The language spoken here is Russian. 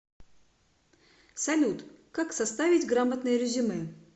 салют как составить грамотное резюме